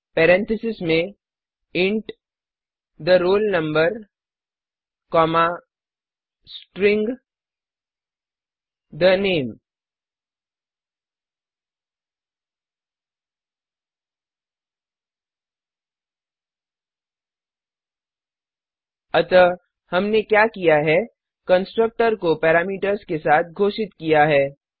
parenthesis में int the roll number comma string the name अतः हमने क्या किया है कंस्ट्रक्टर को पैरामीटर्स के साथ घोषित किया है